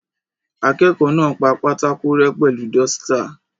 Akẹ́kọ̀ọ́ náà pa pátákò rẹ́ pẹ̀lú dọ́sítà.